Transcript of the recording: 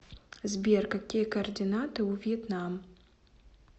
сбер какие координаты у вьетнам